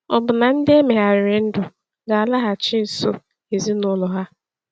Ọ̀ bụ na ndị e megharịrị ndụ ga-alaghachi nso ezinụlọ ha?